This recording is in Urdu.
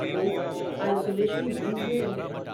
وہ آئیسولیشن رومس میں رہ رہے ہیں۔